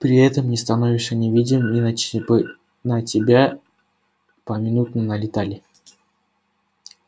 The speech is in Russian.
при этом не становишься невидимым иначе бы на тебя поминутно налетали